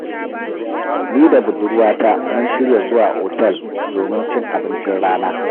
Ni da budurwata mun shirya zuwa otal domin cin abincin rana.